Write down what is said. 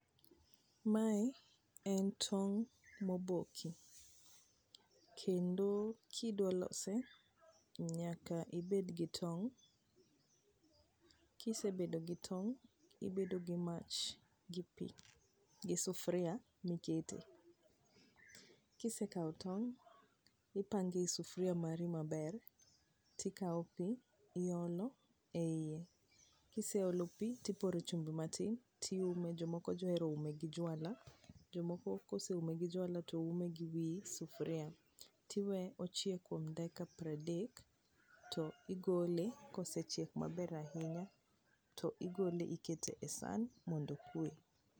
Mae en tong' moboki. Kendo kidwa lose nyaka ibed gi tong'. Kisebedo gi tong', ibedo gi mach, gi pi, gi sufria mikete. Kisekawo tong' ipangei e sufria mari maber, tikawo pi, iolo, eie. Kiseolo pi tiporo chumbi matin, tiume. Jomoko johero ume gi jwala, jomoko koseume gi jwala to ume gi wi sufria. To iwee ochiek kuom dakika piero adek, to igole ka osechiek maber ahinya. To igole ikete e san mondo okwe.